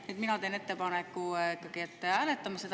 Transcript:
Nii et mina teen ettepaneku, et hääletame seda.